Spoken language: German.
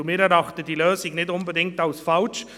Wir erachten diese Lösung nicht unbedingt als falsch.